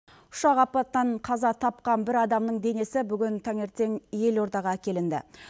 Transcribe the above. ұшақ апатынан қаза тапқан бір адамның денесі бүгін таңертең елордаға әкелінді